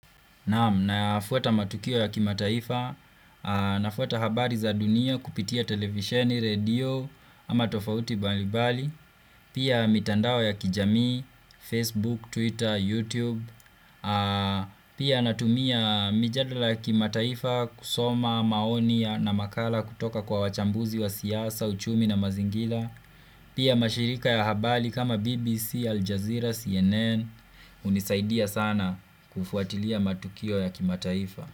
Naam nafuata matukio ya kimataifa, nafuata habari za dunia kupitia televisheni, redio ama tofauti mbalimbali, pia mitandao ya kijamii, Facebook, Twitter, YouTube, pia natumia mijadala ya kimataifa kusoma maoni na makala kutoka kwa wachambuzi wa siasa, uchumi na mazingira, pia mashirika ya habari kama BBC, Aljazeera, CNN, hunisaidia sana kufuatilia matukio ya kimataifa.